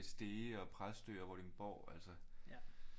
Stege og Præstø og Vordingborg altså